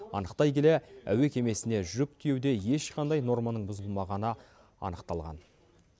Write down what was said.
анықтай келе әуе кемесіне жүк тиеуде ешқандай норманың бұзылмағаны анықталған